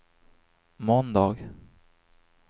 måndag